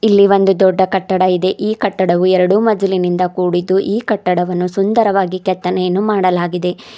ಇಲ್ಲಿ ಒಂದು ದೊಡ್ಡ ಕಟ್ಟಡ ಇದೆ ಈ ಕಟ್ಟಡವು ಎರಡು ಮಜಿಲಿನಿಂದ ಕೂಡಿದ್ದು ಈ ಕಟ್ಟಡವನ್ನು ಸುಂದರವಾಗಿ ಕೆತ್ತನೆಯನ್ನು ಮಾಡಲಾಗಿದೆ.